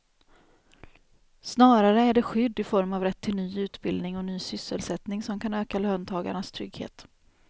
Snarare är det skydd i form av rätt till ny utbildning och ny sysselsättning som kan öka löntagarnas trygghet.